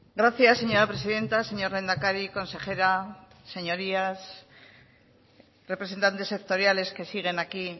gracias señora presidenta señor lehendakari consejera señorías representantes sectoriales que siguen aquí